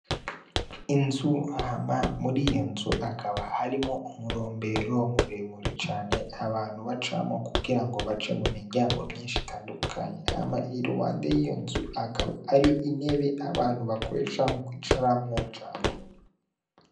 Inzu hama muri iyo nzu akaba harimo umurombero muremure cane abantu bacamwo kugira ngo bace mu miryango myinshi itandukanye ama i rubande y'iyo nzu akaba ario inebe abantu bakore icamu koicaramwo cane.